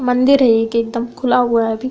मंदिर है ये एक एकदम खुला हुआ है अभी--